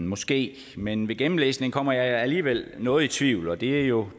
måske men ved gennemlæsning kommer jeg alligevel noget i tvivl og det er jo